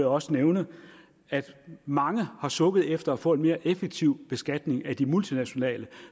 også nævne at mange har sukket efter at få en mere effektiv beskatning af de multinationale